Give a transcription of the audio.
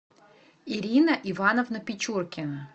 ирина ивановна печеркина